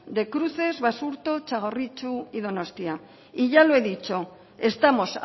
de cruces basurto txagorritxu y donostia y ya lo he dicho estamos